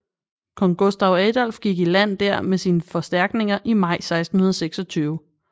Kong Gustav Adolf gik i land der med sine forstærkninger i maj 1626